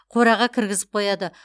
қораға кіргізіп қояды